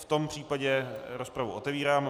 V tom případě rozpravu otevírám.